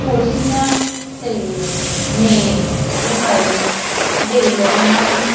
ਕੁਰਸੀਆਂ ਤੇ ਮੇਜ ਦਿਖਾਈ ਦੇ ਰਹੀਆਂ ਹਨ।